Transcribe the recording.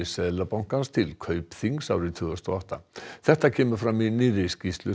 Seðlabankans til Kaupþings árið tvö þúsund og átta þetta kemur fram í nýrri skýrslu